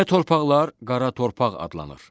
Belə torpaqlar qara torpaq adlanır.